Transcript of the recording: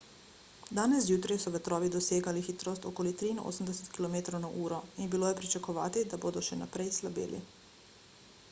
danes zjutraj so vetrovi dosegali hitrost okoli 83 km/h in bilo je pričakovati da bodo še naprej slabeli